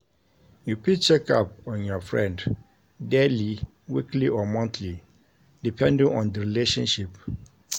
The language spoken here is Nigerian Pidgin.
You fit check up on your friend daily weekly or monthly depending on di relationship